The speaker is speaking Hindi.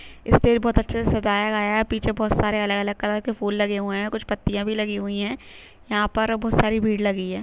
स्टेज बहुत अच्छे से सजाया गया है पीछे बहुत सारे अलग-अलग कलर‌ के फूल लगे हुए हैं ओ कुछ पत्तियां भी लगी हुई है यहाँ पर बहुत सारी भीड़ लगी--